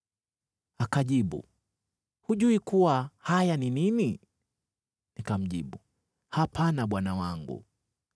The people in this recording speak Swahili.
Akajibu, “Hujui kuwa haya ni nini?” Nikamjibu, “Hapana, bwana wangu.”